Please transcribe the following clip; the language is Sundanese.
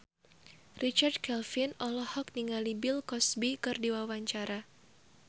Richard Kevin olohok ningali Bill Cosby keur diwawancara